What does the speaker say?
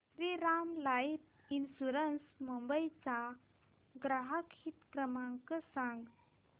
Shriram life insurance Mumbai चा ग्राहक हित क्रमांक सांगा